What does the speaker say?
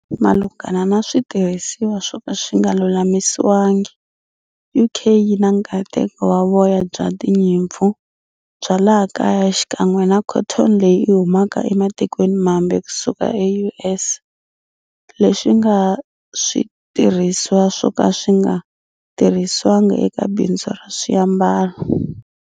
Malunghana na switirhisiwa swoka swinga lulamisiwanga, UK yina nkateko wa voya bya tinyimpfu bya laha kaya xikan'we na cotton leyi humaka ematikweni mambe kusuka e US, leswinga switirhisiwa swoka swinga tirhisiwanga eka bindzu ra swiambalo.